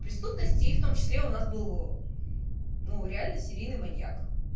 преступность и в том числе у нас был ну реально серийный маньяк